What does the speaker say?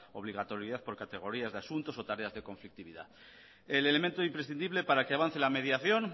obligatoriedad por categorías de asuntos o tareas de conflictividad el elemento imprescindible para que avance la mediación